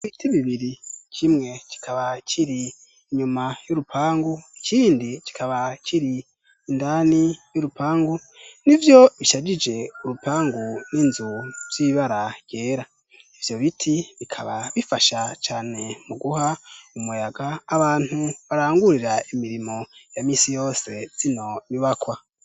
ibiti bibiri kimwe kikaba kiri inyuma y'urupangu ikindi kikaba kiri indani y'urupangu n'ivyo bishajije urupangu n'inzu vy'ibara ryera ivyo biti bikaba bifasha cane mu guha umuyaga abantu barangurira imirimo ya misi yose zino bibakwa